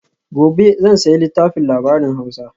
gobe zan sayi littafin labarin hausa